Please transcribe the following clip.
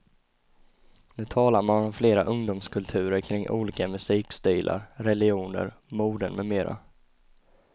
Nu talar man om flera ungdomskulturer kring olika musikstilar, religioner, moden med mera.